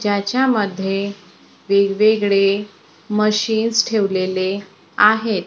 ज्याच्यामध्ये वेगवेगळे मशीन्स ठेवलेले आहेत.